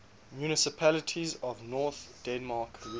municipalities of north denmark region